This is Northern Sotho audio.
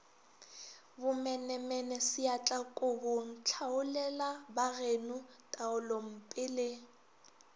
bomenemene seatlakobong tlhaolelabageno taolompe le